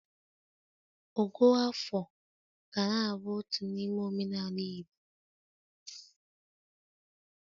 Ogo afọ ga na-abụ otu n’ime omenala Igbo